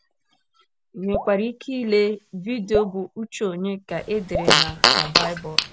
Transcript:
nwekwara ike ile vidio bụ́ Uche Ònye Ka E Dere na na Baịbụl?